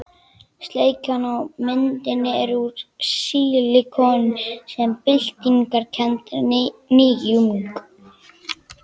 Sleikjan á myndinni er úr sílikoni sem er byltingarkennd nýjung.